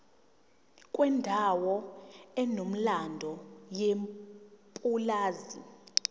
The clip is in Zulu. kwendawo enomlando yepulazi